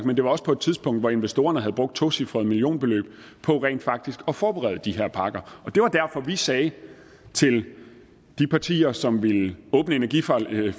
men det var også på et tidspunkt hvor investorerne havde brugt et tocifret millionbeløb på rent faktisk at forberede de her parker det var derfor at vi sagde til de partier som ville åbne energiforliget